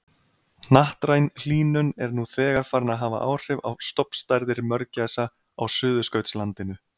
Hnattræn hlýnun er nú þegar farin að hafa áhrif á stofnstærðir mörgæsa á Suðurskautslandinu.